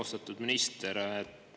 Austatud minister!